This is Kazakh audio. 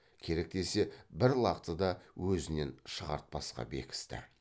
керек десе бір лақты да өзінен шығартпасқа бекісті